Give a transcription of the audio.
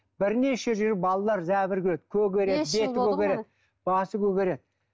бірнеше жыл балалар жәбір көреді көгереді беті көгереді басы көгереді